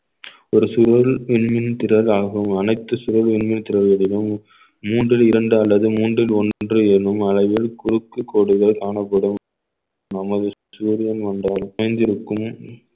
ஒரு சுவர் விண்மீன் திரளாகவும் அனைத்து சுவர்களின் மீது திரள்வதிலும் மூன்றில் இரண்டு அல்லது மூன்றில் ஒன்று எனும் அளவில் குறுக்கு கோடுகள் காணப்படும் நமது சூரியன் வந்தால் பிணைந்திருக்கும்